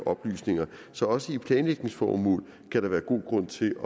oplysninger så også i planlægningsformål kan der være god grund til at